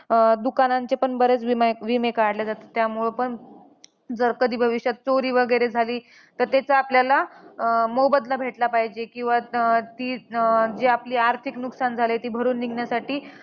अं दुकानांचे पण बरेच विमा विमे काढले जातात. त्यामुळे पण जर कधी भविष्यात चोरी वगैरे झाली, तर त्याचा आपल्याला मोबदला भेटला पाहिजे. किंवा अं ती जे आपली आर्थिक नुकसान झालंय ते भरून निघण्यासाठी